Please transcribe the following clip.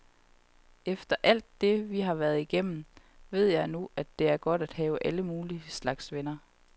Efter alt det, vi har været igennem, ved jeg nu, at det er godt at have alle mulige slags venner.